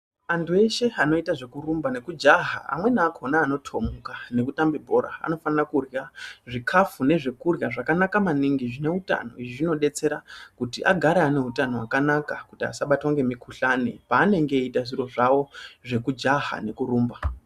Antu eshe anoita zvekurumba nekudyaha amweni akona anotomuka neanotambe bhora anofana kuhya zvikafu nezvekuhya zvakanaka maningi zvineutano izvi zvinobetsera kuti agare aneutano wakanaka kuti asa batwa nemikuhlani panenge eiita zviro zvavo zvekudyaha nekurumba.